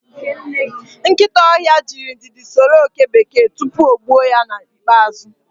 Nkịta ọhịa jirị ndidi soro oke bekee tupu o gbuo ya n'ikpeazụ